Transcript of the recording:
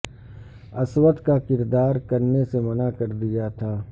اسود کا کردار کرنے سے منع کر دیا تھا